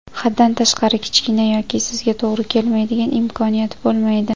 Haddan tashqari kichkina yoki sizga to‘g‘ri kelmaydigan imkoniyat bo‘lmaydi.